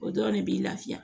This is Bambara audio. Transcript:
O dɔrɔn de b'i lafiya